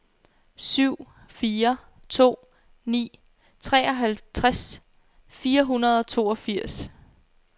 syv fire to ni treoghalvtreds fire hundrede og toogfirs